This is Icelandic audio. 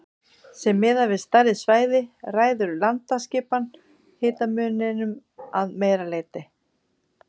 Sé miðað við stærri svæði ræður landaskipan hitamuninum að meira leyti.